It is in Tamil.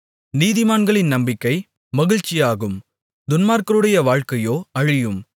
நீதிமான்களின் நம்பிக்கை மகிழ்ச்சியாகும் துன்மார்க்கருடைய வாழ்க்கையோ அழியும்